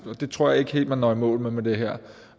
og det tror jeg ikke helt man når i mål med med det her